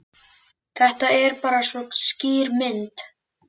Þetta er bara svo skýr mynd.